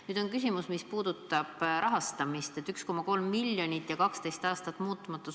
Nüüd on aga küsimus selles, mis puudutab rahastamist: 1,3 miljonit ja 12 aastat muutmata.